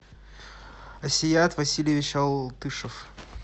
асият васильевич алтышев